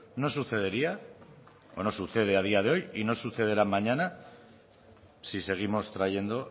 no sucedería o no sucede a día de hoy y no sucederá mañana si seguimos trayendo